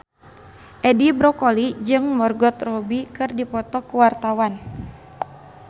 Edi Brokoli jeung Margot Robbie keur dipoto ku wartawan